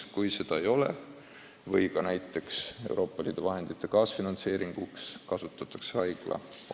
Kui seda ei ole, siis kasutatakse haigla oma raha, sh ka Euroopa Liidu vahenditega elluviidavate projektide kaasfinantseerimiseks.